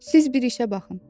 Siz bir işə baxın.